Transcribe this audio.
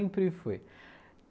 Sempre foi.